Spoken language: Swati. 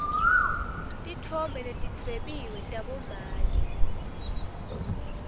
titfombe letidwebiwe tabomake